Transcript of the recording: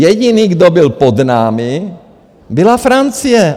Jediný, kdo byl pod námi, byla Francie.